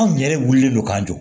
Anw yɛrɛ wulilen don k'an jɔ